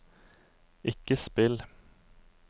ikke spill